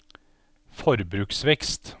forbruksvekst